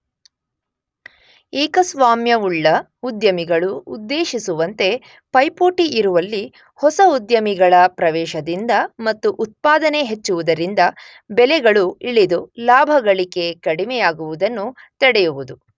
ಏಕಸ್ವಾಮ್ಯವುಳ್ಳ ಉದ್ಯಮಿಗಳು ಉದ್ದೇಶಿಸುವಂತೆ ಪೈಪೋಟಿ ಇರುವಲ್ಲಿ ಹೊಸ ಉದ್ಯಮಿಗಳ ಪ್ರವೇಶದಿಂದ ಮತ್ತು ಉತ್ಪಾದನೆ ಹೆಚ್ಚುವುದರಿಂದ ಬೆಲೆಗಳು ಇಳಿದು ಲಾಭಗಳಿಕೆ ಕಡಿಮೆಯಾಗುವುದನ್ನು ತಡೆಯುವುದು.